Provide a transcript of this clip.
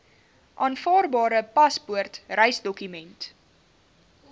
aanvaarbare paspoort reisdokument